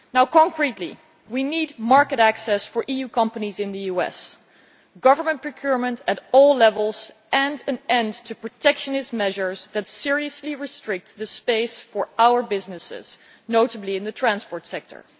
Concretely, we need market access for EU companies in the US, government procurement at all levels, and an end to protectionist measures that seriously restrict the space for our businesses, notably in the transport sector.